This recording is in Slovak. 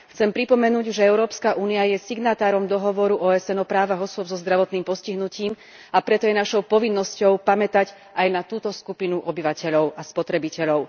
Chcem pripomenúť, že Európska únia je signatárom dohovoru OSN o právach osôb so zdravotným postihnutím, a preto je našou povinnosťou pamätať aj na túto skupinu obyvateľov a spotrebiteľov.